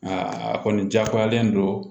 Aa a kɔni jagoyalen don